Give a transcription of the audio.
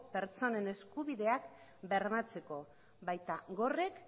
pertsonen eskubideak bermatzeko baita gorrek